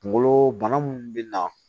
Kunkolo bana mun bɛ na